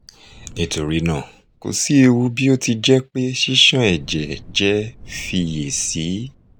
nitorina ko si ewu bi o ti jẹ pe sisan ẹjẹ jẹ fiyesi